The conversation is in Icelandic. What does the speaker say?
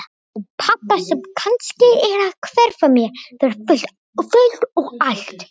Og pabba sem kannski er að hverfa mér fyrir fullt og allt.